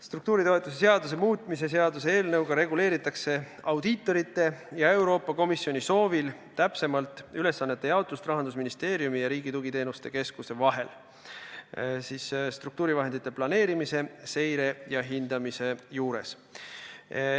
Struktuuritoetuse seaduse muutmise seaduse eelnõuga reguleeritakse audiitorite ja Euroopa Komisjoni soovil täpsemalt Rahandusministeeriumi ja Riigi Tugiteenuste Keskuse vahelist ülesannete jaotust struktuurivahendite planeerimise, seire ja hindamisega seoses.